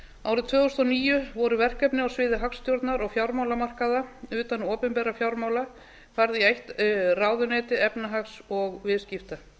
árið tvö þúsund og níu voru verkefni á sviði hagstjórnar og fjármálamarkaða utan opinberra fjármála færð í eitt ráðuneyti efnahags og viðskipta